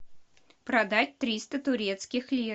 продать триста турецких лир